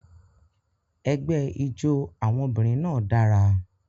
Ẹgbẹ́ ijó àwọn obìnrin náà dára.